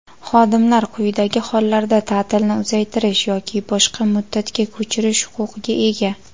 Xodimlar quyidagi hollarda ta’tilni uzaytirish yoki boshqa muddatga ko‘chirish huquqiga ega:.